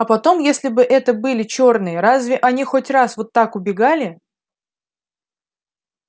а потом если бы это были чёрные разве они хоть раз вот так убегали